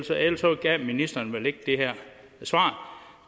gav ministeren vel ikke det her svar